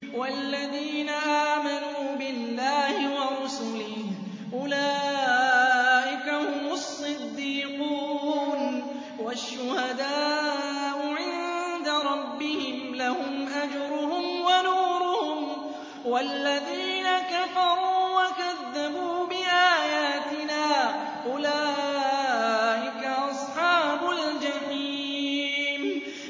وَالَّذِينَ آمَنُوا بِاللَّهِ وَرُسُلِهِ أُولَٰئِكَ هُمُ الصِّدِّيقُونَ ۖ وَالشُّهَدَاءُ عِندَ رَبِّهِمْ لَهُمْ أَجْرُهُمْ وَنُورُهُمْ ۖ وَالَّذِينَ كَفَرُوا وَكَذَّبُوا بِآيَاتِنَا أُولَٰئِكَ أَصْحَابُ الْجَحِيمِ